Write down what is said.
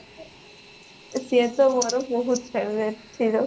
ସିଏ ତ ମୋର ବହୁତ favorite ହୀରୋ